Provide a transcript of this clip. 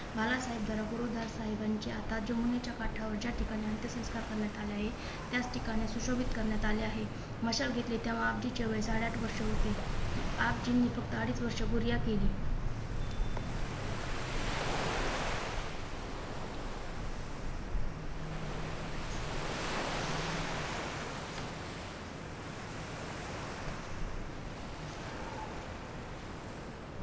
बाळासाहेब साहेबांची आता जमुनेच्या काठावर ज्या ठिकाणी अंत्यसंस्कार करण्यात आले आहे त्याच ठिकाणी सुशोभित करण्यात आले आहे मशाल घेतली तेव्हा आपजिच्या वेळेस साडेआठ वर्षे होते आपजींनी फक्त अडीच वर्ष गोरिया केली